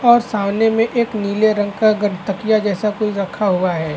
और सामने में एक नीले रंग का गड तकिया जैसा रखा हुआ है।